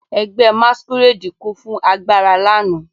Ẹgbẹ́ masquerade kún fún agbára lánàá.